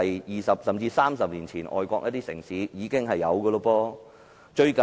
二十年前，甚至30年前，外國城市已經採用這些措施。